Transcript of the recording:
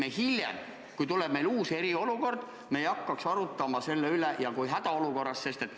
Sel juhul me ei pea siis, kui tuleb uus eriolukord või hädaolukord, hakkama selle üle arutlema.